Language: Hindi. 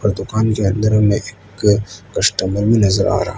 दुकान के अंदर में एक कस्टमर भी नजर आ रहा --